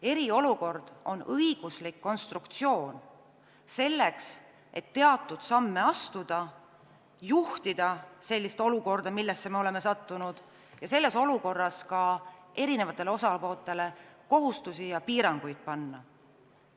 Eriolukord on õiguslik konstruktsioon selleks, et astuda teatud samme, juhtida seda olukorda, millesse me oleme sattunud, ning selles olukorras eri osapooltele ka kohustusi ja piiranguid panna.